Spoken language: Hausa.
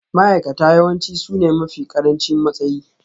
Ma'aikata yawanci sune mafi ƙarancin matsayi